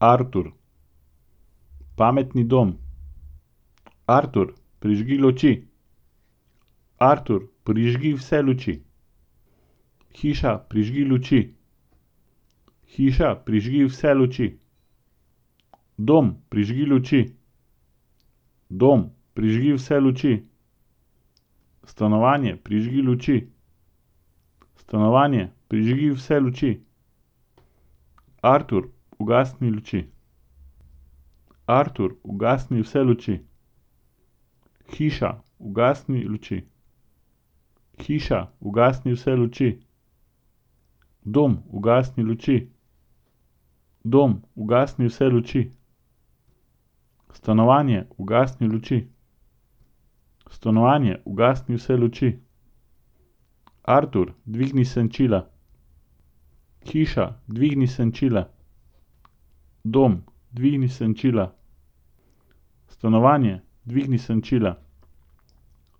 Artur. Pametni dom. Artur, prižgi luči. Artur, prižgi vse luči. Hiša, prižgi luči. Hiša, prižgi vse luči. Dom, prižgi luči. Dom, prižgi vse luči. Stanovanje, prižgi luči. Stanovanje, prižgi vse luči. Artur, ugasni luči. Artur, ugasni vse luči. Hiša, ugasni luči. Hiša, ugasni vse luči. Dom, ugasni luči. Dom, ugasni vse luči. Stanovanje, ugasni luči. Stanovanje, ugasni vse luči. Artur, dvigni senčila. Hiša, dvigni senčila. Dom, dvigni senčila. Stanovanje, dvigni senčila.